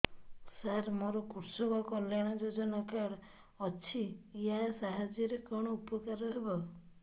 ସାର ମୋର କୃଷକ କଲ୍ୟାଣ ଯୋଜନା କାର୍ଡ ଅଛି ୟା ସାହାଯ୍ୟ ରେ କଣ ଉପକାର ହେବ